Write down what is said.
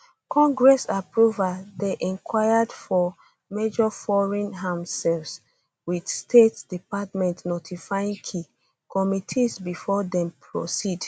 congress approval dey required for major foreign arms sales wit state department notifying key committees before dem proceed